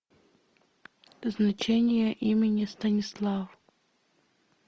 значение имени станислав